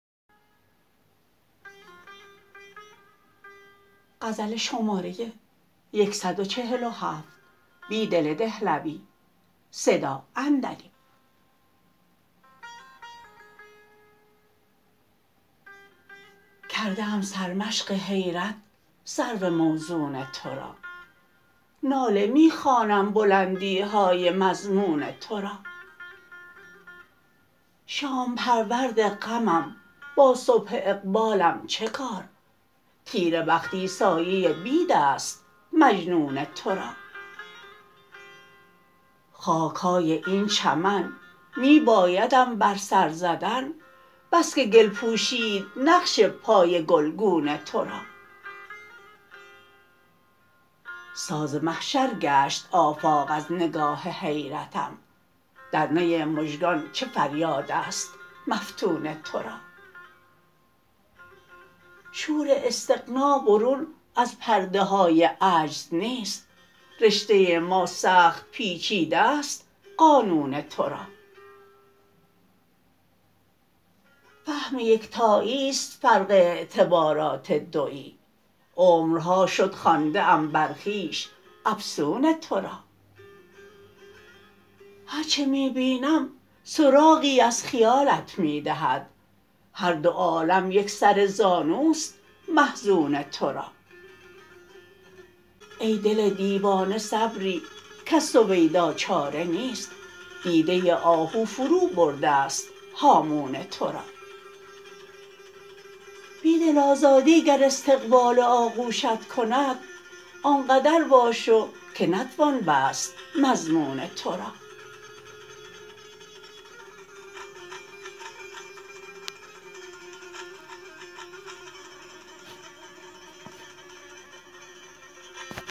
کرده ام سرمشق حیرت سرو موزون تورا ناله می خوانم بلندیهای مضمون تو را شام پرورد غمم با صبح اقبالم چه کار تیره بختی سایه بید است مجنون تو را خاکهای این چمن می بایدم بر سر زدن بسکه گل پوشید نقش پای گلگون تو را ساز محشرگشت آفاق از نگاه حیرتم درنی مژگان چه فریاد است مفتون تو را شور استغنابرون از پرده های عجز نیست رشته ماسخت پیچیده ست قانون تو را فهم یکتایی ست فرق اعتبارات دویی عمرهاشد خوانده ام برخویش افسون تورا هرچه می بینم سراغی از خیالت می دهد هردو عالم یک سر زانوست محزون تورا ای دل دیوانه صبری کز سویدا چاره نیست دیده آهو فرو برده ست هامون تو را بیدل آزادی گر استقبال آغوشت کند آنقدر واشوکه نتوان بست مضمون تو را